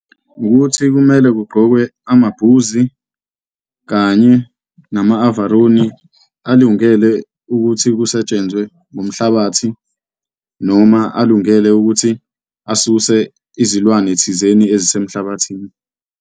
Ukuthi kumele kuqqokwe amabhuzi kanye nama-avaroni alungele ukuthi kusetshenzwe ngomhlabathi noma alungele ukuthi asuse izilwane thizeni ezisemhlabathini.